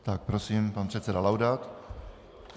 Tak, prosím, pan předseda Laudát.